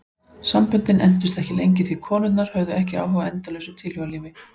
Samböndin entust ekki lengi því konurnar höfðu ekki áhuga á endalausu tilhugalífi.